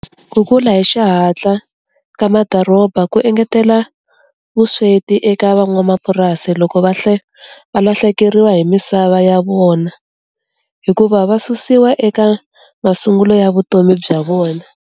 Ku kula hi xihatla ka madoroba ku engetela vusweti eka van'wamapurasi loko va valahlekeriwa hi misava ya vona, hikuva va susiwa eka masungulo ya vutomi bya vona.